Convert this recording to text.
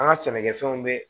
An ka sɛnɛkɛfɛnw bɛ